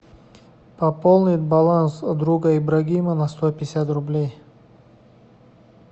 пополнить баланс друга ибрагима на сто пятьдесят рублей